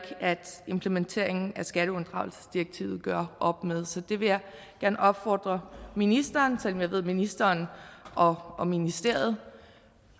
at implementeringen af skatteunddragelsesdirektivet gør op med så det vil jeg gerne opfordre ministeren selv om jeg ved at ministeren og ministeriet